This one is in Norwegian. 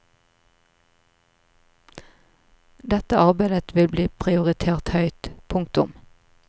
Dette arbeidet vil bli prioritert høyt. punktum